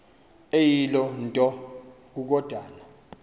eyiloo nto kukodana